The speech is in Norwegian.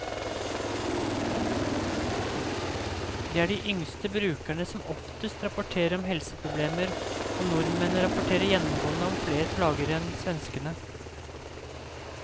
Det er de yngste brukerne som oftest rapporterer om helseproblemer, og nordmennene rapporterer gjennomgående om flere plager enn svenskene.